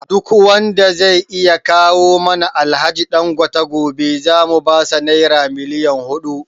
Duk wanda zai iya kawo mana Alhaji Dangote gobe zamu basa Naira miliyon hudu